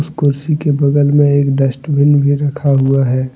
कुर्सी के बगल मे एक डस्टबिन भी रखा हुआ है।